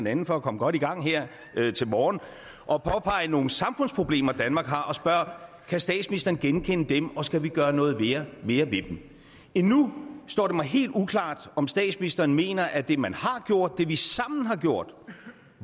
anden for at komme godt i gang her til morgen at påpege nogle samfundsproblemer danmark har og spørger kan statsministeren genkende dem og skal vi gøre noget mere ved dem endnu står det mig helt uklart om statsministeren mener at det man har gjort det vi sammen har gjort